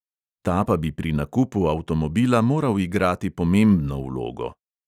Ta pa bi pri nakupu avtomobila moral igrati pomembno vlogo.